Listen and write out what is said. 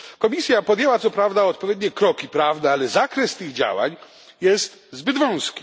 Komisja podjęła co prawda odpowiednie kroki prawne, ale zakres tych działań jest zbyt wąski.